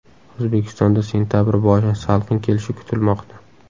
O‘zbekistonda sentabr boshi salqin kelishi kutilmoqda.